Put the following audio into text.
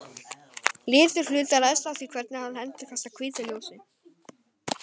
Litur hlutar ræðst af því hvernig hann endurkastar hvítu ljósi.